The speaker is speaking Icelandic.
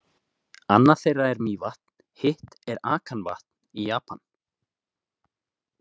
Annað þeirra er Mývatn, hitt er Akanvatn í Japan.